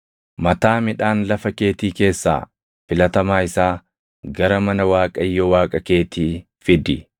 “Mataa midhaan lafa keetii keessaa filatamaa isaa gara mana Waaqayyo Waaqa keetii fidi. “Ilmoo reʼee aannan haadha isheetiin hin affeelin.”